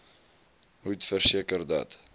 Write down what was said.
moet verseker dat